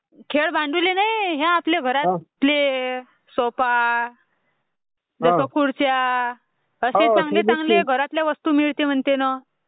खेळ भांडुले नाही ह्या आपले घरातले सोफा, खुरच्या अश्या चांगले चांगले घरातले भांडे मिळते म्हणते ना.